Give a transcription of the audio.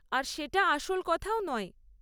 আর সেটা আসল কথাও নয়।